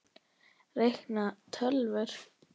Reikna- tölvur